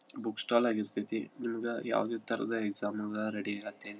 Books stall ಆಗಿರತೈತಿ ಇದ್ರೊಳಗ ಯಾವುದೇ ತರದ್ ಎಕ್ಸಾಮ್ ರೆಡಿ ಅತಿನೆ.